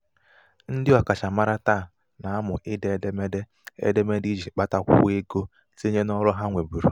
ndị ọkachamara taa na -amụ ide édémédé édémédé iji kpatakwuo ego tinyé n'ọrụ ha nweburu.